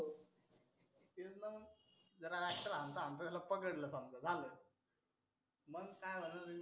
तेच ना मग जरा ट्रॅक्टर हानता हानता त्याला पकडलं समजा झालं. मग काय होणार आहे?